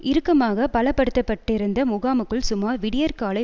இறுக்கமாக பலப்படுத்தப்பட்டிருந்த முகாமுக்குள் சுமார் விடியற்காலை